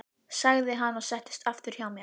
sagði hann og settist aftur hjá mér.